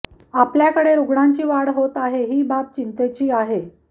आपल्याकडे रुग्णांची वाढ होते आहे ही बाब चिंतेची आहे